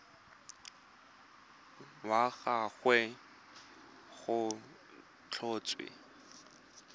wa ga gagwe go tlhotswe